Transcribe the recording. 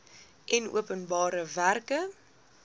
en openbare werke